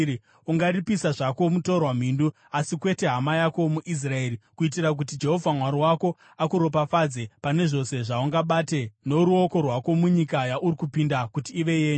Ungaripisa zvako mutorwa mhindu, asi kwete hama yako muIsraeri, kuitira kuti Jehovha Mwari wako akuropafadze pane zvose zvaungabate noruoko rwako munyika yauri kupinda kuti ive yenyu.